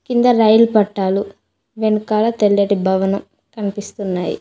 కింద రైలు పట్టాలు వెనకాల తెల్లటి భవనం కనిపిస్తున్నాయి.